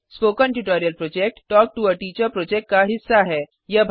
spoken tutorial project talk to a teacher project का हिस्सा है